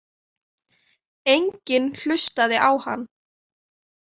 Enginn hlustaði á hann.